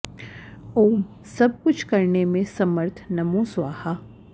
ॐ सब कुछ करने में समर्थ नमो स्वाहा